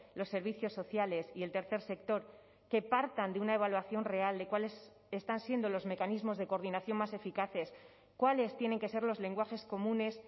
los servicios sociales y el tercer sector que partan de una evaluación real de cuáles están siendo los mecanismos de coordinación más eficaces cuáles tienen que ser los lenguajes comunes